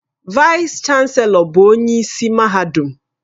Vaịs-Chanelọ bụ onye isi mahadum